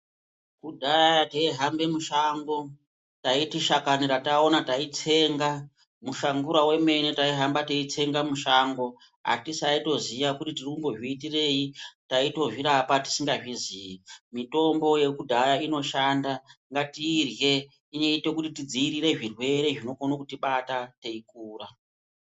Kudhaya teihamba mushango taiti shakani rataona totsenga muhlangurangu wemene taihamba teitsenga mushango . Atisaitoziva kuti tiri kuzviitirei tisangazviitirei mitombo yekudhaya inoshanda inoita tidzivirire zvirwere zvinokona kuti bata teikura.